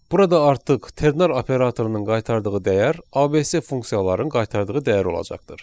Burada artıq ternar operatorunun qaytardığı dəyər ABS funksiyaların qaytardığı dəyər olacaqdır.